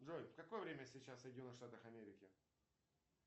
джой какое время сейчас в соединенных штатах америки